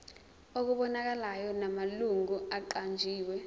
okubonakalayo namalungu aqanjiwe